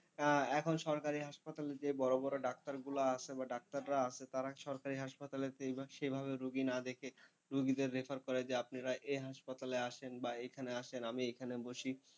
এখন সরকারি হাসপাতালে যে বড়ো বড়ো ডাক্তারগুলো আসে বা ডাক্তাররা আসে তারা সরকারি হাসপাতালে সেইভাবে রুগী না দেখে রুগীদের refer করে যে আপনার এই হাসপাতালে আসেন বা এখনে আসেন আমি এখানে বসি।